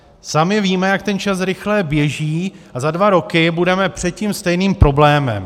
Sami víme, jak ten čas rychle běží, a za dva roky budeme před tím stejným problémem.